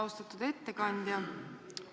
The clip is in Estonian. Austatud ettekandja!